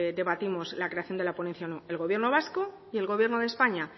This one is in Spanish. debatimos la creación de la ponencia o no el gobierno vasco y el gobierno de españa